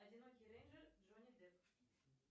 одинокий рейнджер джонни депп